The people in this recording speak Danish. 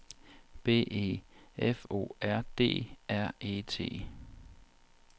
B E F O R D R E T